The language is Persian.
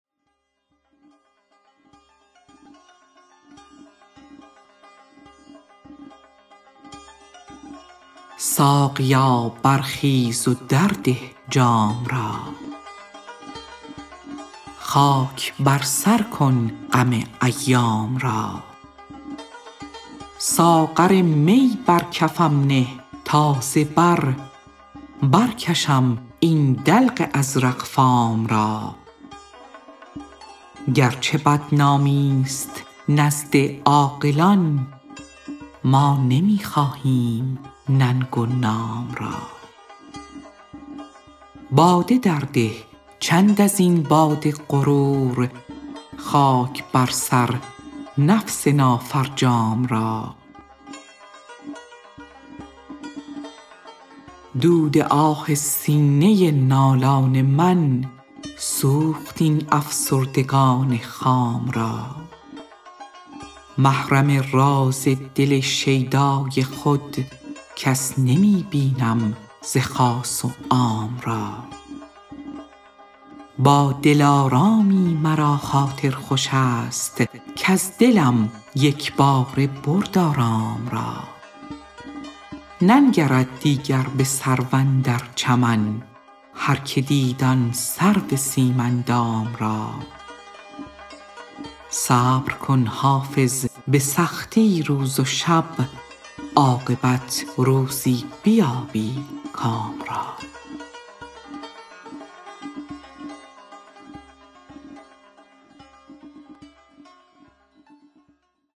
ساقیا برخیز و درده جام را خاک بر سر کن غم ایام را ساغر می بر کفم نه تا ز بر برکشم این دلق ازرق فام را گرچه بدنامی ست نزد عاقلان ما نمی خواهیم ننگ و نام را باده درده چند از این باد غرور خاک بر سر نفس نافرجام را دود آه سینه نالان من سوخت این افسردگان خام را محرم راز دل شیدای خود کس نمی بینم ز خاص و عام را با دلارامی مرا خاطر خوش است کز دلم یک باره برد آرام را ننگرد دیگر به سرو اندر چمن هرکه دید آن سرو سیم اندام را صبر کن حافظ به سختی روز و شب عاقبت روزی بیابی کام را